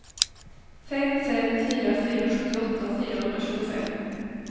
fem fem fyra fyra sjuttioåtta fyrahundratjugofem